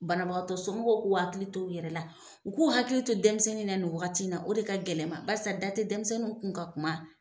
Banabaatɔ somɔgɔw k'u hakili to u yɛrɛ la, u k'u hakili to denmisɛnnin na, ni waati wagati na , o de ka gɛlɛn ma, barisa da tɛ denmisɛnninw kun ka kuma.